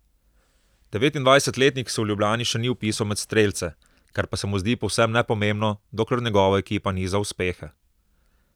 Devetindvajsetletnik se v Ljubljani še ni vpisal med strelce, kar pa se mu zdi povsem nepomembno, dokler njegova ekipa niza uspehe.